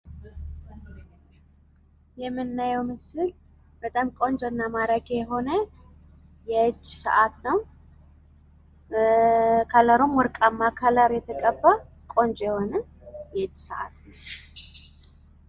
የምናየው ምስል አጅግ የሚያምር የጅ ሴአት ንው። ቀለሙም የሚያምር ወርቃማ ቀለም ነው።